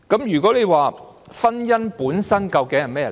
如果問婚姻本身究竟是甚麼？